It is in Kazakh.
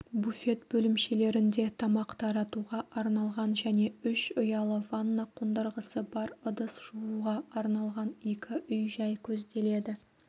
буфет бөлімшелерінде тамақ таратуға арналған және үш ұялы ванна қондырғысы бар ыдыс жууға арналған екі үй-жай көзделеді